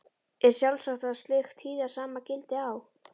Er sjálfsagt að slíkt hið sama gildi á